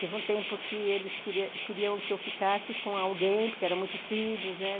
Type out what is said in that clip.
Teve um tempo que eles queriam queriam que eu ficasse com alguém, porque eram muitos filhos, né?